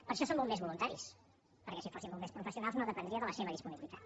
per això són bombers voluntaris perquè si fossin bombers professionals no dependria de la seva disponibilitat